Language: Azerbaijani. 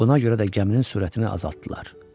Buna görə də gəminin sürətini azaltdılar.